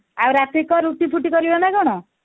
ଆଉ ରାତିକି କଣ ରୁଟି ଫୁଟି କରିବ ନା କଣ